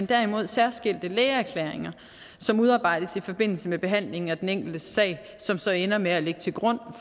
derimod særskilte lægeerkæringer som udarbejdes i forbindelse med behandlingen af den enkeltes sag og som så ender med at ligge til grund